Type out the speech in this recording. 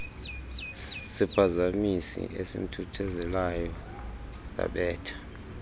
siphazamisi esimthuthuzelayo zabetha